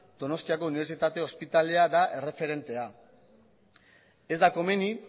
donostiako unibertsitate ospitalea da erreferentea ez da komeni